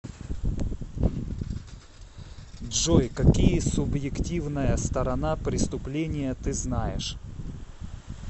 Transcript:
джой какие субъективная сторона преступления ты знаешь